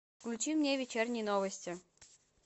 включи мне вечерние новости